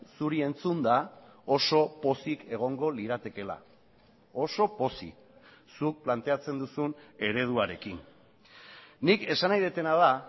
zuri entzunda oso pozik egongo liratekeela oso pozik zuk planteatzen duzun ereduarekin nik esan nahi dudana da